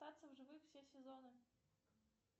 остаться в живых все сезоны